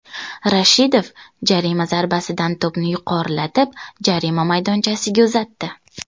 Rashidov jarima zarbasidan to‘pni yuqorilatib jarima maydonchasiga uzatdi.